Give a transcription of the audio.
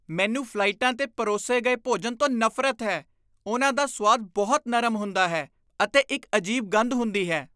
ਮੈਨੂੰ ਫਲਾਈਟਾਂ 'ਤੇ ਪਰੋਸੇ ਗਏ ਭੋਜਨ ਤੋਂ ਨਫ਼ਰਤ ਹੈ। ਉਹਨਾਂ ਦਾ ਸੁਆਦ ਬਹੁਤ ਨਰਮ ਹੁੰਦਾ ਹੈ ਅਤੇ ਇੱਕ ਅਜੀਬ ਗੰਧ ਹੁੰਦੀ ਹੈ।